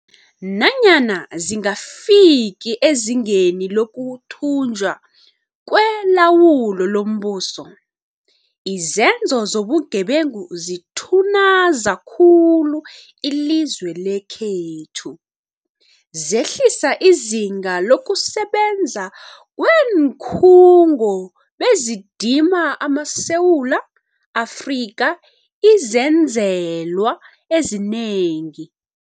Nanyana zingafiki ezingeni lokuthunjwa kwelawulo lombuso, izenzo zobugebengu zithunaza khulu ilizwe lekhethu, zehlisa izinga lokusebenza kweenkhungo bezidima amaSe wula Afrika izenzelwa ezinengi.